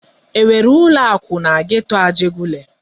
E nwere ụlọ akụ na geto Ajegunle?